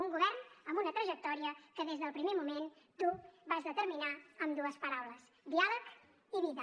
un govern amb una trajectòria que des del primer moment tu vas determinar amb dues paraules diàleg i vida